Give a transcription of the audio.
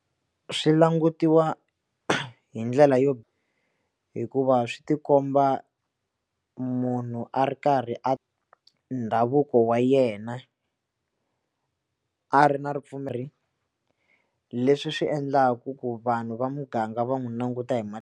Swi langutiwa hi ndlela yo hikuva swi tikomba munhu a ri karhi a ndhavuko wa yena a ri na ripfumeri ra leswi swi endlaku ku vanhu va muganga va n'wi languta hi .